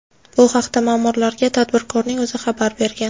Bu haqda ma’murlarga tadbirkorning o‘zi xabar bergan.